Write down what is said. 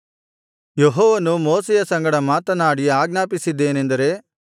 ಯೆಹೋವನು ಮೋಶೆಯ ಸಂಗಡ ಮಾತನಾಡಿ ಆಜ್ಞಾಪಿಸಿದ್ದೇನೆಂದರೆ